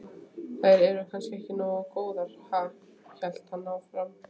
Þær eru kannski ekki nógu góðar, ha? hélt hann áfram.